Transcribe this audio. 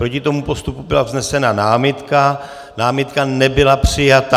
Proti tomu postupu byla vznesena námitka, námitka nebyla přijata.